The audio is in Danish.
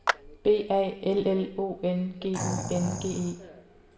B A L L O N G Y N G E